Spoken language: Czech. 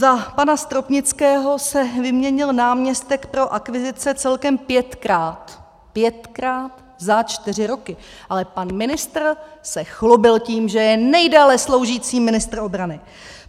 Za pana Stropnického se vyměnil náměstek pro akvizice celkem pětkrát, pětkrát za čtyři roky, ale pan ministr se chlubil tím, že je nejdéle sloužící ministr obrany.